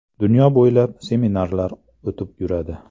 Dunyo bo‘ylab, seminarlar o‘tib yuradi.